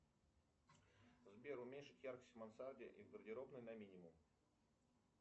сбер уменьшить яркость в мансарде и гардеробной на минимум